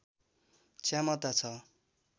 क्षमता छ